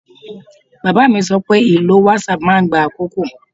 Bàbá mi sọ pé ìlò whatsapp máa ń gba àkókò